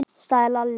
sagði Lalli.